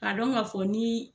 A dɔn ka fɔ ni